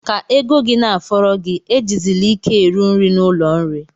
Ka ego gị na-afọrọ gi, ejizili ike eru nri n'ụlọ nri.